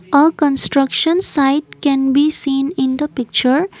a construction site can be seen in the picture.